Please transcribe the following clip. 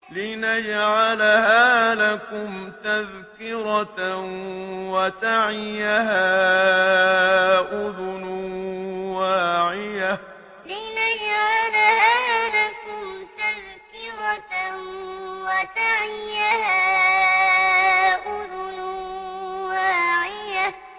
لِنَجْعَلَهَا لَكُمْ تَذْكِرَةً وَتَعِيَهَا أُذُنٌ وَاعِيَةٌ لِنَجْعَلَهَا لَكُمْ تَذْكِرَةً وَتَعِيَهَا أُذُنٌ وَاعِيَةٌ